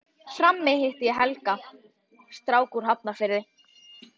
Frammi hitti ég Helga, strák úr Hafnarfirði.